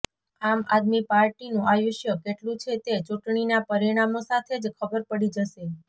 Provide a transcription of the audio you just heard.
આમ આદમી પાર્ટીનું આયુષ્ય કેટલું છે તે ચુંટણીના પરિણામો સાથે જ ખબર પડી જશે